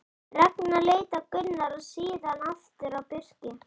Ragnar leit á Gunnar og síðan aftur á Birki.